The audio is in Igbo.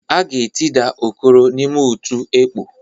A ga-etida Okoro n'ime otu ekpọ.